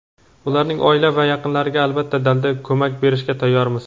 Ularning oila va yaqinlariga albatta dalda va ko‘mak berishga tayyormiz.